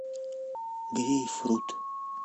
грейпфрут